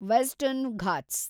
western Ghats